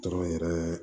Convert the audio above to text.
Tɔn yɛrɛ